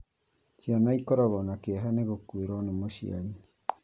Ciana ikoragwo na kieha ni gũkuĩrwo mũciari